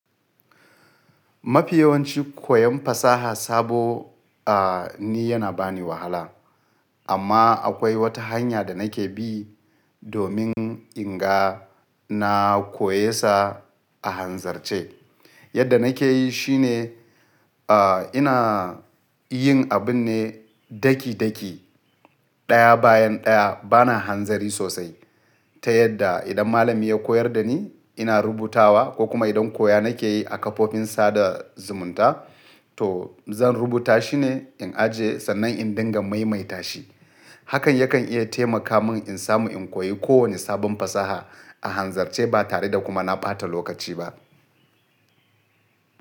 Mafi yawanci koyon fasaha sabo, ah, ni yana ba ni wahala. Amma akwai wata hanya da nake bi domin in ga na koye sa a hanzarce. Yadda nake yi shine, ina yin abun ne daki-daki, ɗaya bayan ɗaya, bana hanzari sosai ta yadda idan malami ya koyar da ni ina rubutawa ko kuma idan koya nake yi a kafofin sada zumunta to zan rubuta shi ne in ajiye sannan in dinga maimaita shi. Hakan yakan iya taimaka mun in samu in koyi kowane sabon fasaha a hanzarce ba tare da kuma na ɓata lokaci ba.